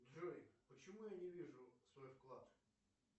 джой почему я не вижу свой вклад